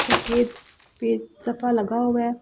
सफेद पेज सफा लगा हुआ है ।